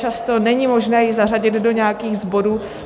Často není možné ji zařadit do nějakého z bodů.